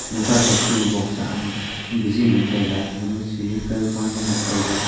bok sa bagi ngan taiga ga ma ceide kan fa nu ngan taiga.